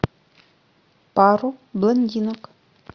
пару блондинок